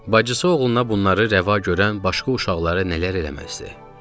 Bacısı oğluna bunları rəva görən başqa uşaqlara nələr eləməzdi.